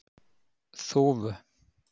Þúfu